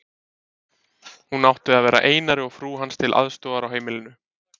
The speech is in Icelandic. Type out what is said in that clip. Hún átti að vera Einari og frú hans til aðstoðar á heimilinu.